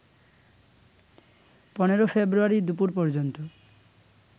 ১৫ February দুপুর পর্যন্ত